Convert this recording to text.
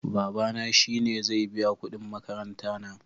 Babana shi ne zai biya kudin makaranta na